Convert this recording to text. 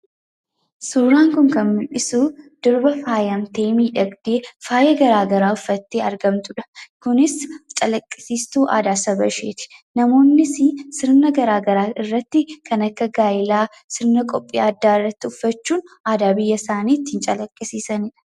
Suuraan kun kan mu'isu durbar miidhagdee faayamtee bareeddee jirtudha. Kunis calaqqisiistuu aadaa Saba isheeti. Namoonnis sirna gara garaa kannen akka gaa'ilaa, sirnoota gara garaa irratti uffachuun aadaa biyya isaanii kan calaqqisiisanidha.